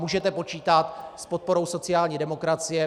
Můžete počítat s podporou sociální demokracie.